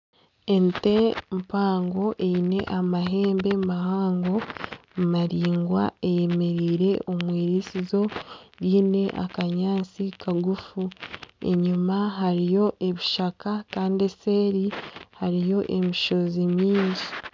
Ente mpango eyine amahembe mahango maringwa eyemereire omu irisizo ryine akanyaatsi kagufu. Enyima hariyo ebishaka Kandi eseri hariyo emishozi mingi.